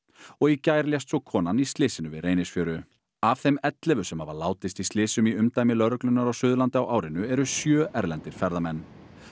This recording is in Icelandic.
og í gær lést svo konan í slysinu við Reynisfjöru af þeim ellefu sem hafa látist í slysum í umdæmi lögreglunnar á Suðurlandi á árinu eru sjö erlendir ferðamenn